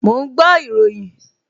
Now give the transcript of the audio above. Mò ń gbọ́ ìròyìn